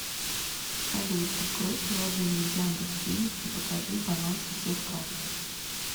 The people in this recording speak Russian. салют открой приложение яндекс денег и покажи баланс всех карт